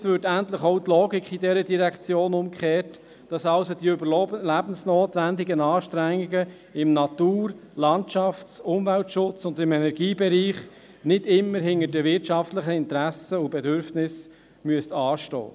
Damit würde endlich auch die Logik in dieser Direktion umgekehrt, sodass also die überlebensnotwendigen Anstrengungen im Natur-, Landschafts- und Umweltschutz und im Energiebereich nicht immer hinter den wirtschaftlichen Interessen und Bedürfnissen hintanstehen müssten.